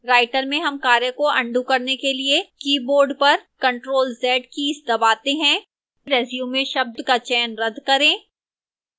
writer में हम ctrl को अन्डू करने के लिए keyboard पर ctrl + z कीज़ दबाते हैं resume शब्द का चयन रद्द करें